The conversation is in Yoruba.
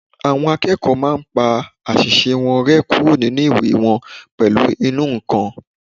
Àwọn akẹ́kọ̀ọ́ máa n pa àwọn àṣìṣe wọn rẹ́ kúrò nínu ìwé wọn pẹ̀lú ìnù-ǹkan